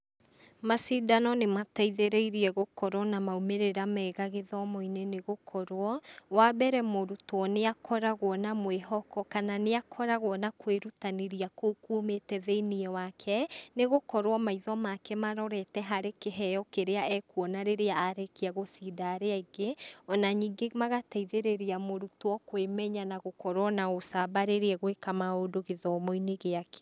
Macindano nĩ mateithĩrĩirie gũkorwo na maumĩrĩra mega gĩthomo-inĩ nĩ gũkorwo; wa mbere mũrũtwo nĩ akoragwo na mwĩhoko kana nĩ akoragwo na kwĩrutanĩria kũu kũmĩte thĩiniĩ wake nĩ gũkorwo maitho make marorete harĩ kĩheo kĩrĩa ekuona na rĩrĩa arĩkia gũcinda arĩa angĩ, o na ningĩ magateithĩrĩria mũrũtwo kwĩmenya na gũkorwo na ũcamba rĩrĩa egũĩka maũndũ gĩthomo-inĩ gĩake.